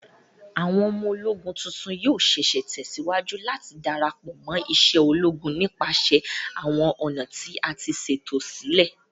Awọn ọmọ-ologún tuntun yoo ṣee ṣe tẹsiwaju lati darapọ mo ise ologun nipasẹ awọn ọna ti a ṣeto silẹ